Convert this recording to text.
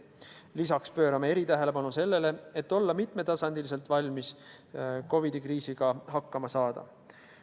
Lisaks pöörame erilist tähelepanu sellele, et olla mitmel tasandil valmis COVID-i kriisiga hakkama saama.